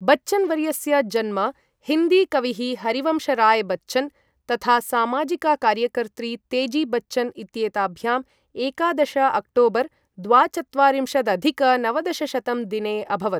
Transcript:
बच्चन् वर्यस्य जन्म, हिन्दी कविः हरिवंश राय् बच्चन् तथा सामाजिका कार्यकर्त्री तेजी बच्चन् इत्येताभ्याम् एकादश अक्टोबर् द्वाचत्वारिंशदधिक नवदशशतं दिने अभवत्।